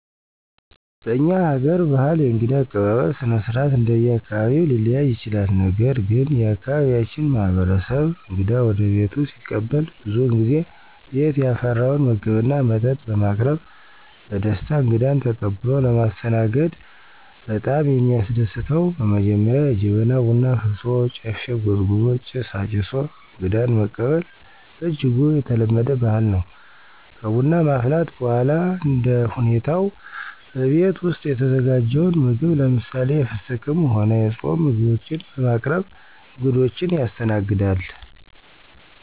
በእኛ ሀገር በህል የእንግዳ አቀባበል ስነስርአት እንደየአካባቢው ሊለያይ ይችላል ነገር ግን የአካባቢያችን ማህበረሰብ እንግዳ ወደቤቱ ሲቀበል ብዙውን ጊዜ ቤት ያፈራውን ምግብና መጠጥ በማቅረብ በደስታ እንግዳን ተቀብሎ ለማስተናገድ በጣም የሚያስደስተው በመጀመሪያ የጀበና ቡና አፍልቶ፣ ጨፌ ጎዝጉዞ፣ ጭስ አጭሶ አንግዳን መቀበል በእጅጉ የተለመደ ባህል ነው። ከቡና ማፍላት በኋላ እንደሁኔታው በቤት ውስጥ የተዘጋጀውን ምግብ ለምሳሌ፦ የፍስክም ሆነ የፃም ምግቦችን በማቅረብ እንግዶችን ያስተናግዳል።